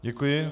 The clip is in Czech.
Děkuji.